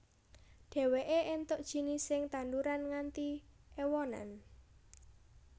Dheweke entuk jinising tanduran nganti ewonan